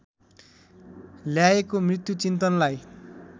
ल्याएको मृत्यु चिन्तनलाई